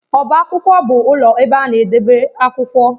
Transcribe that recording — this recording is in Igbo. Ọbá akwụkwọ bụ ụlọ ebe a na-edebe akwụkwọ.